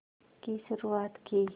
की शुरुआत की